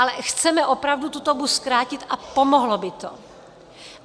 Ale chceme opravdu tu dobu zkrátit a pomohlo by to.